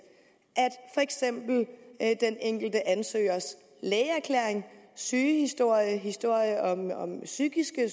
at for den enkelte ansøgers lægeerklæring sygehistorie historie om psykiske